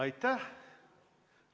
Aitäh!